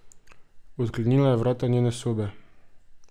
Odklenila je vrata njene sobe.